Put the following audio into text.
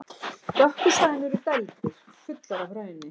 Dökku svæðin eru dældir, fullar af hrauni.